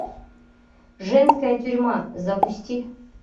женская тюрьма запусти